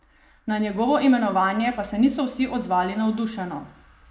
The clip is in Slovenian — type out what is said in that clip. Na njegovo imenovanje pa se niso vsi odzvali navdušeno.